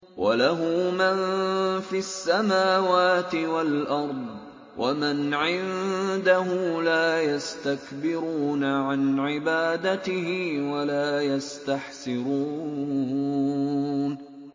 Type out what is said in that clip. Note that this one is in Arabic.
وَلَهُ مَن فِي السَّمَاوَاتِ وَالْأَرْضِ ۚ وَمَنْ عِندَهُ لَا يَسْتَكْبِرُونَ عَنْ عِبَادَتِهِ وَلَا يَسْتَحْسِرُونَ